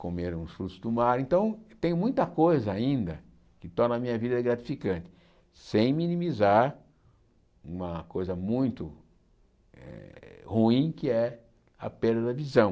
comer uns frutos do mar, então tenho muita coisa ainda que torna a minha vida gratificante, sem minimizar uma coisa muito eh ruim que é a perda da visão.